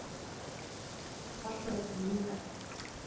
En þarna eru ný nöfn.